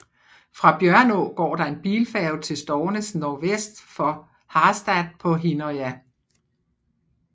Fra Bjørnå går der en bilfærge til Stornes nordvest for Harstad på Hinnøya